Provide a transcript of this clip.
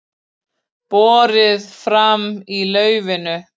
Borið fram í laufinu